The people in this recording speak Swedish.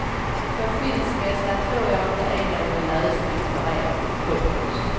För skilsmässa tror jag inte är någon lösning för er. punkt